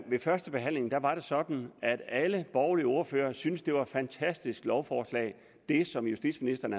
ved førstebehandlingen var var det sådan at alle borgerlige ordførere syntes det var et fantastisk lovforslag som justitsministeren